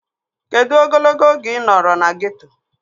Kedụ ogologo oge ị nọrọ na geeto?